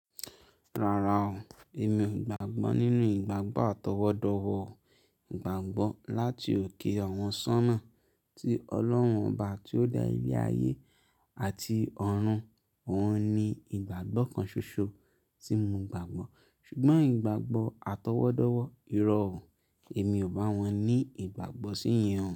Rárá o, èmi ò gbàgbọ́ nínú ìgbàgbọ́ atọwọ́dọwọ́ gbàgbọ́ láti òkè àwọn sọ́nà tí Ọlọ́run ọba tí ó da ilé ayé àti ọ̀run. Òun ni ìgbàgbọ́ kan ṣoṣo tí mo gbàgbọ́. Ṣùgbọ́n ìgbàgbọ́ atọwọ́dọwọ́, ìrọ̀ ọ, èmi ò bá wọn ní ìgbàgbọ́ sí yen o.